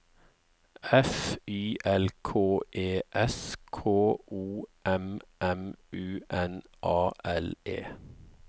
F Y L K E S K O M M U N A L E